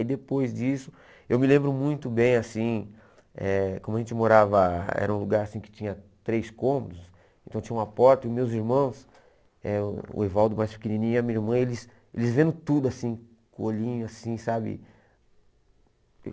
E depois disso, eu me lembro muito bem, assim, eh como a gente morava, era um lugar assim que tinha três cômodos, então tinha uma porta e meus irmãos, eh o Evaldo mais pequenininho e a minha irmã, eles eles vendo tudo assim, com o olhinho assim, sabe?